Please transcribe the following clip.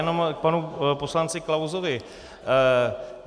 Jenom k panu poslanci Klausovi.